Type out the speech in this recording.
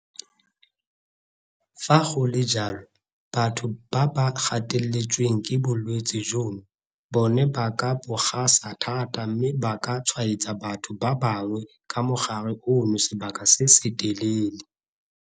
Fa go le jalo, batho ba ba gateletsweng ke bolwetse jono bona ba ka bo gasa thata mme ba ka tshwaetsa batho ba bangwe ka mogare ono sebaka se se telele.